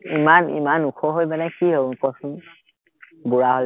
ইমান ইমান ওখ হৈ পিনে কি হ'ব মোক কচোন, বুৰাহৈ?